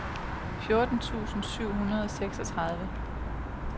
fjorten tusind syv hundrede og seksogtredive